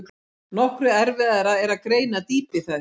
Nokkru erfiðara er að greina dýpi þess.